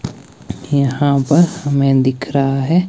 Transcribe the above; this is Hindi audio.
यहां पर हमें दिख रहा है।